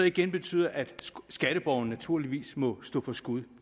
igen betyder at skatteborgerne naturligvis må stå for skud